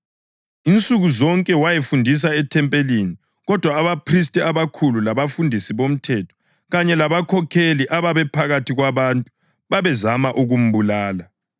Insuku zonke wayefundisa ethempelini. Kodwa abaphristi abakhulu labafundisi bomthetho kanye labakhokheli ababephakathi kwabantu babezama ukumbulala.